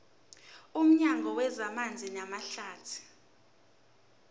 nomnyango wezamanzi namahlathi